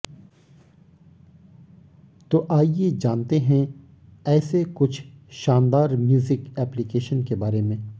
तो आइए जानते हैं ऐसे कुछ शानदार म्यूजिक एप्लीकेशन के बारे में